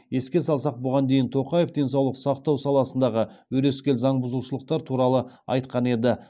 еске салсақ бұған дейін тоқаев денсаулық сақтау саласындағы өрескел заң бұзушылықтар туралы айтқан еді